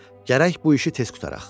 Gərək bu işi tez qurtaraq.